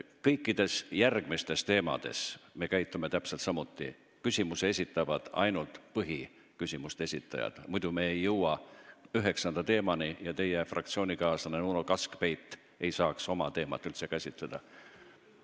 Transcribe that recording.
Kõikide järgmiste teemade puhul me käitume täpselt samuti – lisaküsimuse esitavad ainult põhiküsimuse esitajad –, muidu me ei jõua üheksanda teemani: teie fraktsioonikaaslane Uno Kaskpeit ei saaks oma teemat üldse käsitleda.